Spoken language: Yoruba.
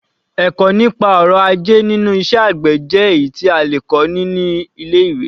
Ẹ̀kọ́ nípa ọrọ̀ ajé nínú iṣẹ́ àgbè jẹ́ èyí tí a lè kọ́ ní ilé-ìwé.